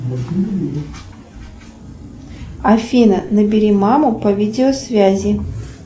афина набери маму по видеосвязи